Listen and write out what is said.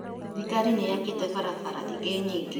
Thirikari nĩ ĩakĩte barabara ingĩ nyingĩ